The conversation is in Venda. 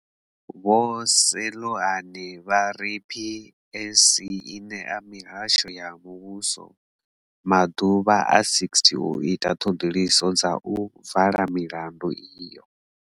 Vho Seloane vha ri PSC i ṋea mihasho ya muvhuso maḓuvha a 60 u ita ṱhoḓisiso na u vala milandu iyo.